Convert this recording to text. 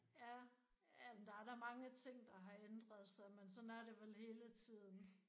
Ja ja men der er der da mange ting der har ændret sig men sådan er det vel hele tiden